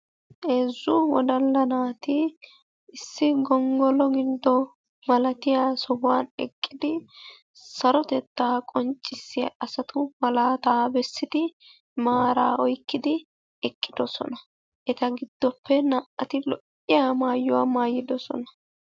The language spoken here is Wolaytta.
Heezzu wodalla naati issi gonggolo giddo malatiya sohuwan eqqidi sarotettaa qonccissiya asatu malaataa bessidi maaraa oykkidi eqqidosona. Eta giddoppe naa"ati lo"iya maayuwa maayidosona.